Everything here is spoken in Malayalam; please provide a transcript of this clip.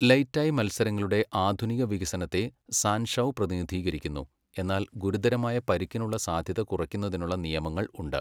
ലെയ് ടായ് മത്സരങ്ങളുടെ ആധുനിക വികസനത്തെ സാൻ ഷൗ പ്രതിനിധീകരിക്കുന്നു, എന്നാൽ ഗുരുതരമായ പരിക്കിനുള്ള സാധ്യത കുറയ്ക്കുന്നതിനുള്ള നിയമങ്ങൾ ഉണ്ട്.